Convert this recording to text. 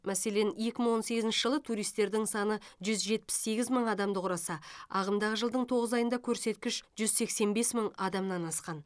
мәселен екі мың он сегізінші жылы туристердің саны жүз жетпіс сегіз мың адамды құраса ағымдағы жылдың тоғыз айында көрсеткіш жүз сексен бес мың адамнан асқан